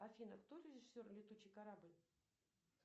афина кто режиссер летучий корабль